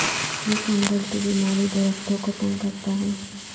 یہ فنگل کی بیماری درختوں کو تنگ کرتا ہے